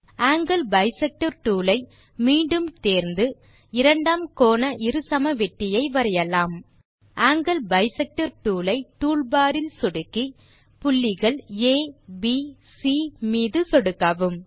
angle bisector tool ஐ மீண்டும் tool bar இலிருந்து தேர்ந்து இரண்டாம் கோண இருசமவெட்டியை வரையலாம் ஆங்கில் பைசெக்டர் டூல் ஐ டூல் பார் இல் சொடுக்கி புள்ளிகள் abசி மீது சொடுக்கவும்